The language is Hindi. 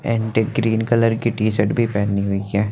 ग्रीन कलर की टी शर्ट भी पहनी हुई है।